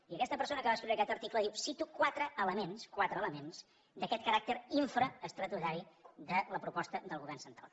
i aquesta persona que va escriure aquest article diu cito quatre elements quatre elements d’aquest caràcter infraestatutari de la proposta del govern central